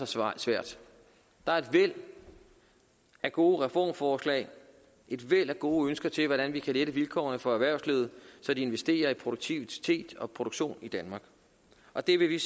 så svært der er et væld af gode reformforslag et væld af gode ønsker til hvordan vi kan lette vilkårene for erhvervslivet så de investerer i produktivitet og produktion i danmark og det vil vi